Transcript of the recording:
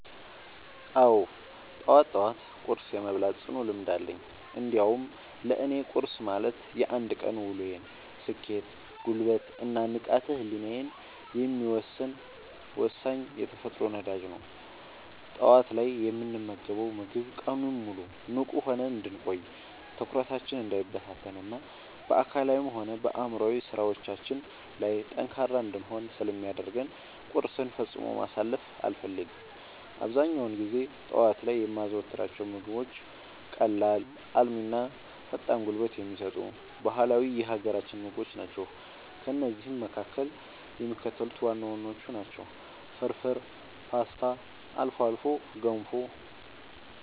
አዎ፣ ጠዋት ጠዋት ቁርስ የመብላት ጽኑ ልምድ አለኝ። እንዲያውም ለእኔ ቁርስ ማለት የአንድ ቀን ውሎዬን ስኬት፣ ጉልበት እና ንቃተ ህሊናዬን የሚወሰን ወሳኝ የተፈጥሮ ነዳጅ ነው። ጠዋት ላይ የምንመገበው ምግብ ቀኑን ሙሉ ንቁ ሆነን እንድንቆይ፣ ትኩረታችን እንዳይበታተን እና በአካላዊም ሆነ በአእምሯዊ ስራዎቻችን ላይ ጠንካራ እንድንሆን ስለሚያደርገን ቁርስን ፈጽሞ ማሳለፍ አልፈልግም። አብዛኛውን ጊዜ ጠዋት ላይ የማዘወትራቸው ምግቦች ቀላል፣ አልሚ እና ፈጣን ጉልበት የሚሰጡ ባህላዊ የሀገራችንን ምግቦች ናቸው። ከእነዚህም መካከል የሚከተሉት ዋና ዋናዎቹ ናቸው፦ ፍርፍር: ፖስታ: አልፎ አልፎ ገንፎ